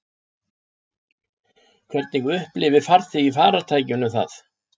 Hvernig upplifir farþegi í farartækinu það?